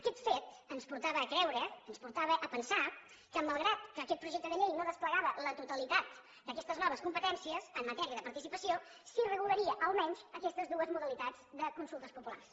aquest fet ens portava a creure ens portava a pensar que malgrat que aquest projecte de llei no desplegava la totalitat d’aquestes noves competències en matèria de participació sí que regularia almenys aquestes dues modalitats de consultes populars